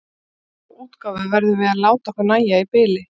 Og þá útgáfu verðum við að láta okkur nægja í bili.